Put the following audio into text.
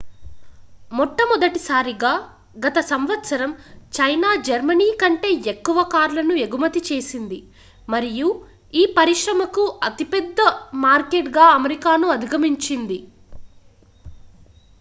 మొట్టమొదటిసారిగా గత సంవత్సరం చైనా జర్మనీ కంటే ఎక్కువ కార్లను ఎగుమతి చేసింది మరియు ఈ పరిశ్రమకు అతిపెద్ద మార్కెట్గా అమెరికాను అధిగమించింది